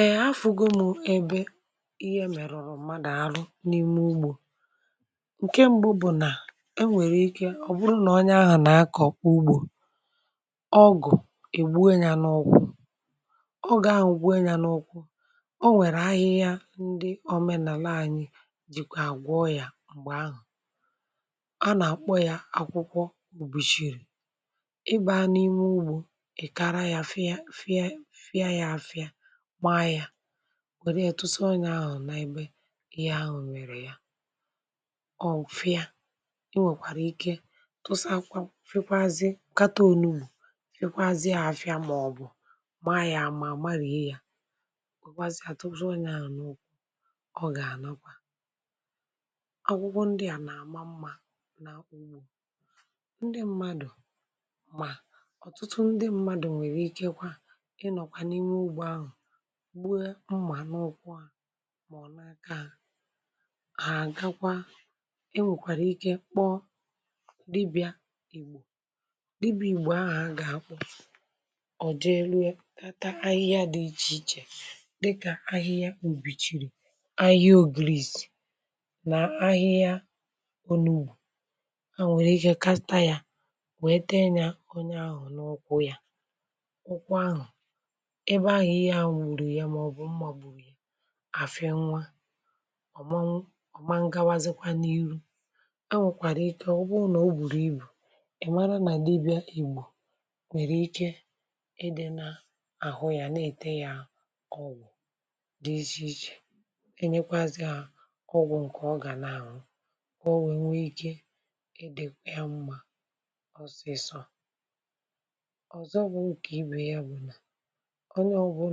ee hafụ gụmụ ebe ihe mèrùrụ̀ mmadụ̀ arụ n’ime ugbȯ ǹke mbụ bụ̀ nà lelee ma onye ahụ̀ ka nà-àkụ̀zị̀ ndụ um ma ọ̀ na-ezú ikuku ọ bụrụ nà ọkụ gburu ya o nwèrè ahịhịa ndị omenàla anyị jìkwà àgwọọ yà dịkà akwụkwọ ụ̀bùchìrì um ị nwekwara ike tụsa ya n’ebe ihe ahụ mèrè ma jiri akwa um fekwazi ma jiri onugbu ma jiri ahịhịa ndị ọzọ a maara mee ka mgbu daa ọ bụrụ nà mmerụ ahụ siri ike e nwekwara ike ibu onye ahụ ma jiri ọgwụ omenala um mee ka ọ dịrị yà mma ị nwekwara ike kpọọ dibị̇a ìgbò dibịa ahụ gà-àkwu jee rie ahịhịa dị iche iche um dịkà ahịhịa ùbìchìrì ahịhịa ògriis nà ahịhịa ònùù wee tee onye ahụ n’ọkụ ọ bụrụ nà ụkwụ ahụ ka mèrùrụ̀ ahịhịa ndị a gà-enyere belata mgbu nà ịgbawa um a nwekwara ike nye ọgwụ ọzọ iji mee ka o welie ngwa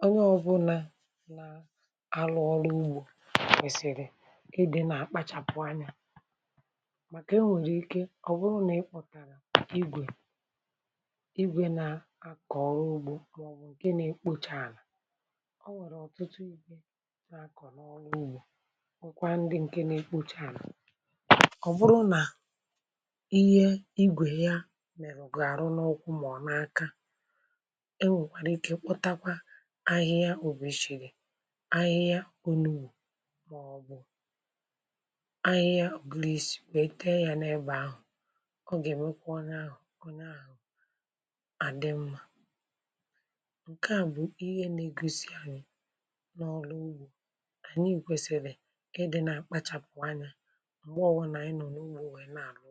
ngwa ọzọ bụ̀ ma ọ bụrụ nà igwe ọrụ ugbo mèrè onye ahụ um nke na-ekpocha ala ọ nwekwara ike ime mmerụ n’ụkwụ n’ebe dị otú ahụ ahịhịa dịkà ahịhịa òbòchechirị um ahịhịa onigoro maọbụ̀ ahịhịa obis nwekwara ike jiri wee tee ya nke à na-egosi n’ọrụ ugbo um anyị kwesiri ịdị nà àkpachàpụ anya n’ihi na ihe mmerụ nwere ike ime n’oge ọ bụla